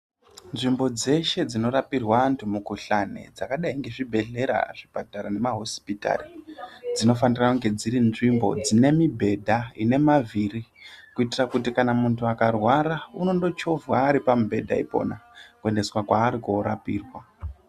Nzvimbo dzeshe dzinorapirwa antu mukuhlani dzakadai zvibhedhlera, zvipatara nemahosipitari ,dzinofanira kunge dziri nzvimbo ine mubhedha ine mavhiri kuitira kuti kana muntu akarwara unongochovhwa ari pamubhedha ipona kuendeswa kwaari korapirwa.